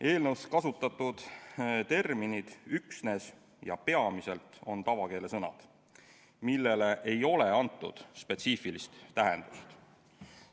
Eelnõus kasutatud terminid "üksnes" ja "peamiselt" on tavakeele sõnad, millele ei ole antud spetsiifilist tähendust.